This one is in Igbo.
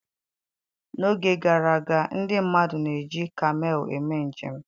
N'oge gara aga, ndị mmadụ na-eji kamel eme njem.